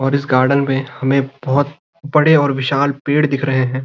और इस गार्डन पे हमें बहोत बड़े और विशाल पेड़ दिख रहे है।